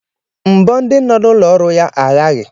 Mbọ ndị nọ n'ụlọ ọrụ ya aghaghị